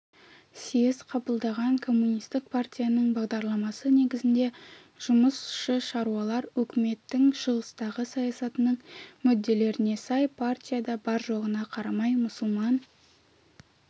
съезд қабылдаған коммунистік партияның бағдарламасы негізінде жұмысшы-шаруалар өкіметінің шығыстағы саясатының мүдделеріне сай партияда бар-жоғына қарамай мұсылман